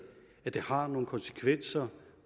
at det har nogle konsekvenser